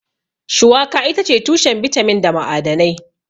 Shuwaka itace tushen bitamin da ma'adanai.